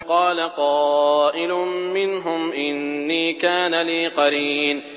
قَالَ قَائِلٌ مِّنْهُمْ إِنِّي كَانَ لِي قَرِينٌ